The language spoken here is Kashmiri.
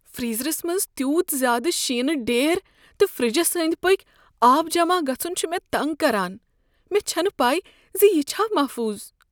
فریزرس منٛز تیوٗت زیادٕ شیٖنہٕ ڈیر تہٕ فریجس أنٛدۍ پٔکۍ آب جمع گژھن چھ مےٚ تنٛگ کران، مےٚ چھنہٕ پے ز یہ چھا محفوظ۔